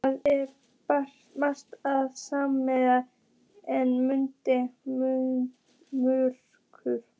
Það er svo bjart en samt er myrkur.